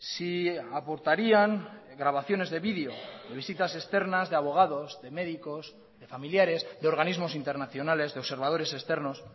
si aportarían grabaciones de video o visitas externas de abogados de médicos de familiares de organismos internacionales de observadores externos